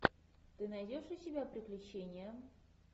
ты найдешь у себя приключения